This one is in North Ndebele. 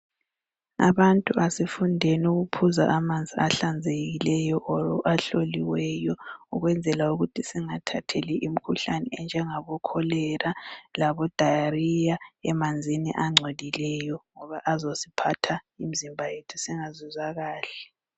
Abantu kasifundeni ukunatha amanzi ahlanzekileyo kumbe ahloliweyo ukwenzela ukuthi singathatheli imikhuhlane enjengabo cholera labo diarrhea emanzini angcolileyo ngoba azosiphatha imizimba yethu singayizwa kahle